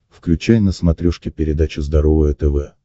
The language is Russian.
включай на смотрешке передачу здоровое тв